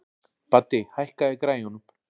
Baddi, hækkaðu í græjunum.